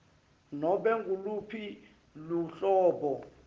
nobe nguluphi luhlobo